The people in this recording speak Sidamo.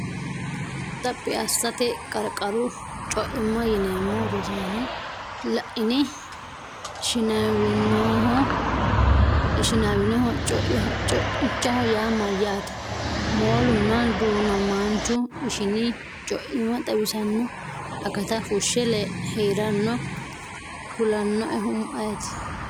Xaphi assate, qarqaru co’imma yineemmo Rosaano la’ini? Ishinaawinoho co’ichaho yaa mayyaate? Moolunna du’namaanchu ishini co’imma xawisanno akata fushshe hee’ranno kulannoehu ayeeti?